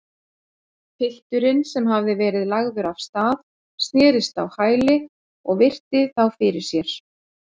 Pilturinn, sem hafði verið lagður af stað, snerist á hæli og virti þá fyrir sér.